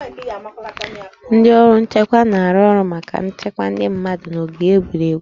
Ndị ọrụ nchekwa na-arụ ọrụ maka nchekwa ndị mmadụ n'ogige egwuregwu